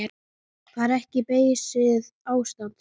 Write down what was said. Það er ekki beysið ástand.